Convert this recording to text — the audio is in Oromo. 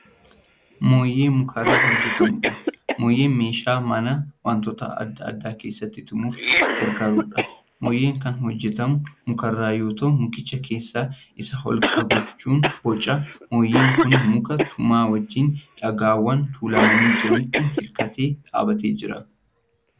Mooyyee mukarraa hojjatamuudha. mooyyeen meeshaa manaa wantoota adda addaa keessatti tumuuf gargaarudha. mooyyeen Kan hojjatamu mukarraa yoo ta'u mukicha keessa Isaa holqa gochuun bocama. mooyyeen Kuni muk-tumaa wajjiin dhagaawwan tuulamanii jiranitti hirkatee dhaabatee jira.